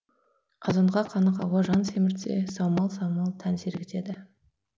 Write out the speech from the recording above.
азонға қанық ауа жан семіртсе саумал самал тән сергітеді